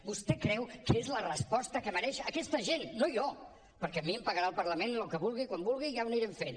vostè creu que és la resposta que mereix aquesta gent no jo perquè a mi em pagarà el parlament el que vulgui quan vulgui i ja ho anirem fent